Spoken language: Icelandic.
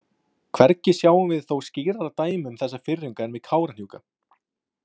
Hvergi sjáum við þó skýrara dæmi um þessa firringu en við Kárahnjúka.